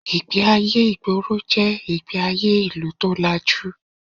Ìgbé-ayé ìgboro jẹ́ ìgbé-ayé ìlú tó lajú